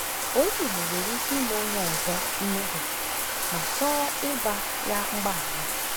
Onye Igbo nwere ike ị̀me onye ọzọ mmehie ma chọọ ịgwa ya mgbaghara.